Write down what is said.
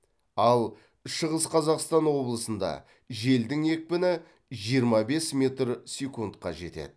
ал шығыс қазақстан облысында желдің екпіні жиырма бес метр секундқа жетеді